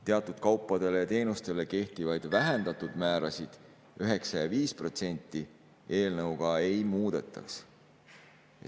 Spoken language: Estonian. Teatud kaupadele ja teenustele kehtivaid vähendatud määrasid 9% ja 5% eelnõuga ei muudetaks.